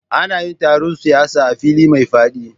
Ana yin taron siyasa a fili mai faɗi